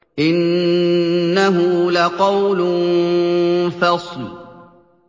إِنَّهُ لَقَوْلٌ فَصْلٌ